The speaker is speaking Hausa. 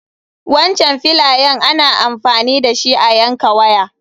Wancan filayen ana amfani dashi a yanka waya.